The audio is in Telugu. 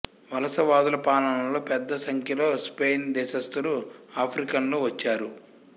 వలసవాదుల పాలనలో పెద్ద సంఖ్యలో స్పెయిన్ దేశస్థులు ఆఫ్రికన్లు వచ్చారు